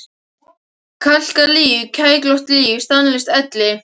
Kalkað líf, kræklótt líf, stanslaus elli.